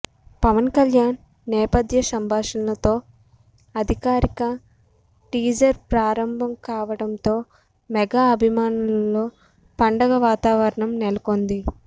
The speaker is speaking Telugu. పవన్ కళ్యాణ్ నేపథ్య సంభాషణలతో అధికారిక టీజర్ ప్రారంభం కావటంతో మెగా అభిమానులలో పండగ వాతావరణం నెలకొంది